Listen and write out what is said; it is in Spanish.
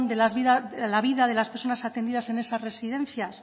de la vida de las personas atendidas en esas residencias